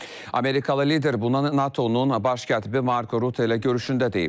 Amerikalı lider bunu NATO-nun baş katibi Marko Rutte ilə görüşündə deyib.